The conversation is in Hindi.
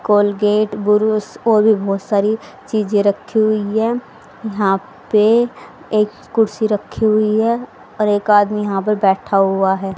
कोलगेट बुरुश और भी बहोत सारी चीजे रखी हुई है यहां पे एक कुर्सी रखी हुई है और एक आदमी यहां पे बैठा हुआ है।